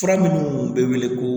Fura minnu bɛ wele ko